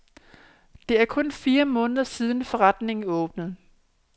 Det er kun fire måneder siden, forretningen åbnede.